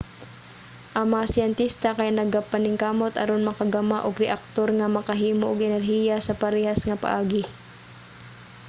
ang mga siyentista kay nagapaningkamot aron makagama og reaktor nga makahimo og energiya sa parehas nga paagi